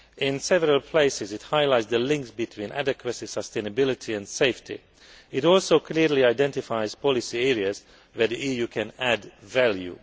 In several places, it highlights the links between adequacy, sustainability and safety. It also clearly identifies policy areas where the EU can add value.